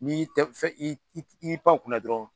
N'i tɛ fɛ i y'i pan kunna dɔrɔn